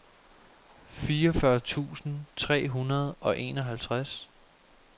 fireogfyrre tusind tre hundrede og enoghalvtreds